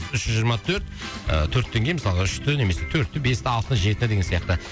үш жүз жиырма төрт ы төрттен кейін мысалға үшті немесе төртті бесті алтыны жетіні деген сияқты